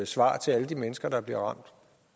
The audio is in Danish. svar til alle de mennesker der bliver ramt